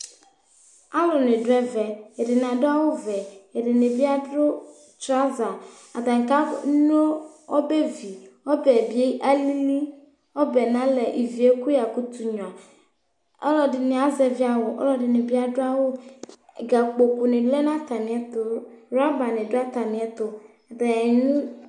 alũni dũ ɛvɛ ɛdini adũ awʊ vɛ ɛdini biadũ tsuava atani ka nó ɔbɛvi ɔbɛbi alili ɔbẽ nalɛ ivie kũ yakutũ ngũa ɔlɔdini azevi awʊ ɔlɔdini bi adu awũ ga kpokũ ni lɛ nata mietũ ylɔba ni dũ atamietũ atani nũ